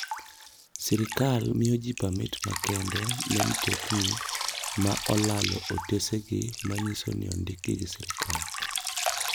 Sirkal miyo ji pamit makende ne mtokni ma olalo otesegi ma nyiso ni ondikgi gi sirkal.